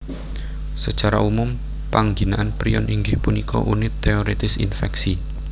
Sacara umum pangginaan prion inggih punika unit téorètis infèksi